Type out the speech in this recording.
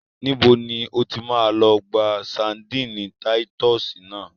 Níbo ni o ti máa lọ gba ṣadínnì táyítọ́sì náà?